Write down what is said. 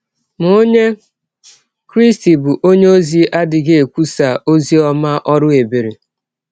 Ma ọnye Krịsti bụ́ ọnye ọzi adịghị ekwụsa ọzi ọma ọrụ ebere.